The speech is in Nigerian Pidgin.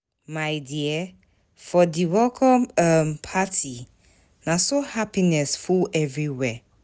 My dear, for di welcome um party, na so happiness full everywhere.